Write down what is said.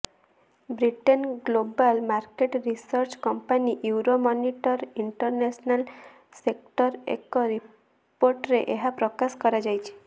ବ୍ରିଟେନ୍ର global market research company Euromonitor International ଷ୍ଟେଟ୍ସର ଏକ ରିପୋର୍ଟରେ ଏହା ପ୍ରକାଶ କରାଯାଇଛି